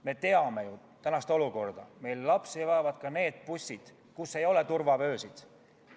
Me teame ju tänast olukorda, et lapsi veavad ka need bussid, kus ei ole turvavöösid.